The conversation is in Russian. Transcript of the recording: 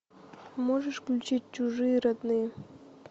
можешь включить чужие родные